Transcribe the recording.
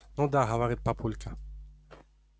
ну да говорит папулька